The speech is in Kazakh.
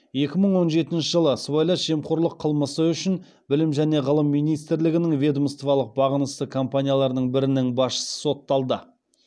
екі мың он жетінші жылы сыбайлас жемқорлық қылмысы үшін білім және ғылым министрлігінің ведомстволық бағынысты компанияларының бірінің басшысы сотталды